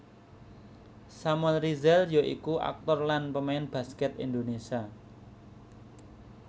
Samuel Rizal ya iku aktor lan pemain baskèt Indonésia